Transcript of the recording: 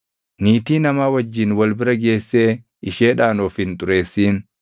“ ‘Niitii namaa wajjin wal bira geessee isheedhaan of hin xureessin.